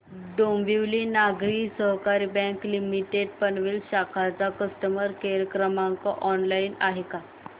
डोंबिवली नागरी सहकारी bank limited Panvel शाखा चा कस्टमर केअर क्रमांक ऑनलाइन आहे का